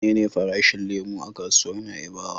Menene farashin lemo a kasuwar Na'ibawa?